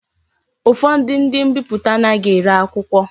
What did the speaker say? Ufodu ndi mbiputa anaghi ere akwukwo.